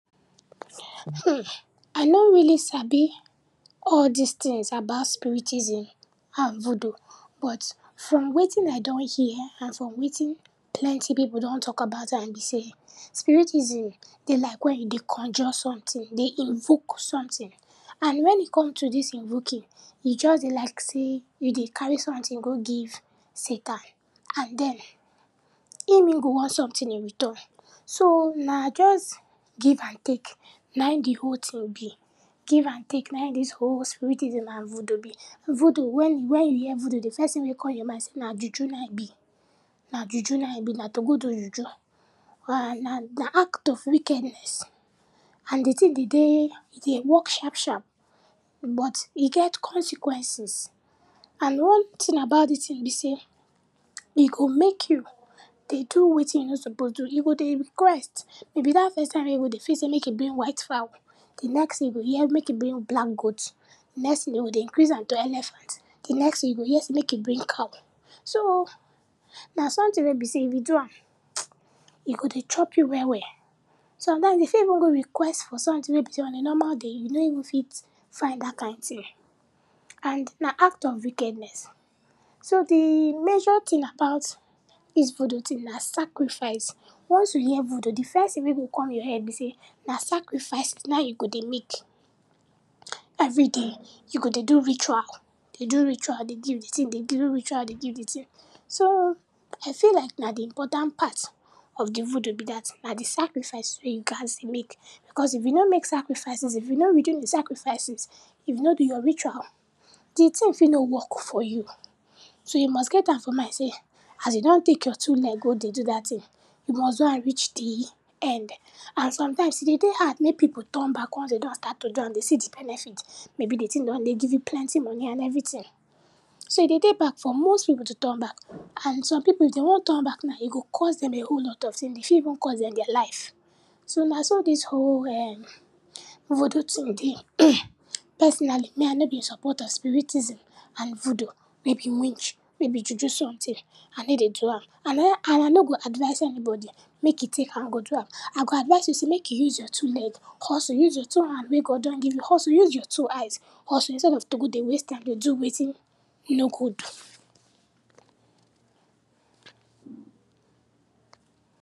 um, I no really sabi all dis tins about spiritism and voodoo, but from wetin I don hear and from wetin plenty pipu don talk about am be sey spiritism dey like wen you conjure sometin, dey invoke sometin, and when e come to dis invoking, e just dey like sey you dey carry sometin go give satan and den im e go want sometin in return. So, na just give and take nai di whole tin be, give and take nai dis whole spiritism and voodoo be. Voodoo, wen, wen you hear voodoo di first tin wey come your mind sey na juju na e be, na juju na e be, na to go do juju and na, na act of wickedness and di tin be dey, e dey work sharp sharp, but e get consequences and one tin about dis tin be sey um e go mek you dey do wetin you no suppose do, e go dey request, maybe dat first time wey e go, dey fit sey mek you bring white fowl, di next tin you go hear mek you bring black goat, very soon den go dey increase am to elephant, di next tin you go hear sey mek you bring cow, so, na sometin wey be sey if you do am, um, e go dey chop you well well so, and den e fit go request for sometin wey be sey on a normal day, you no even fit find dat kind tin. And na act of wickedness. So, di major tin about dis voodoo tin na sacrifice. Once you hear voodoo, di first tin wey go kon your head be sey na sacrifices na you go dey make. Every day, you go dey do ritual, dey do ritual dey give di tin, dey do ritual dey give di tin, so, I feel like na di important part of di voodoo be dat, na di sacrifices wey you gats dey make, because if you no make sacrifices, if you no redeem di sacrifices, if you no do your ritual, di tin fit no work for you. So, you must get am for mind sey, as you don tek your two leg go dey do dat tin, you must do am reach di end and sometimes e dey dey house mey pipu turn back once den don start to dey do am den see di benefit, maybe di tin don dey give you plenty money and everytin. So, e dey dey bad for most pipu to turn back and some pipu if den wan turn back now, e go cause dem a whole lot of tins, e fit even cause dem dia life. So, na so dis whole um voodoo tin dey. personally, me I no dey in support of spiritism and voodoo, maybe witch, maybe juju sometin, I ney dey do am and I na, and I no go advise anybody mek e tek hand go do am. I go advise you sey make you use your two leg, hustle, use your two hand wey God don give you hustle, use your two eyes hustle instead of to go dey use am do wetin e no good.